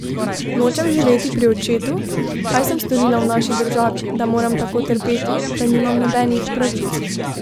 Nočem živeti pri očetu, kaj sem storila v naši državi, da moram tako trpeti, da nimam nobenih pravic.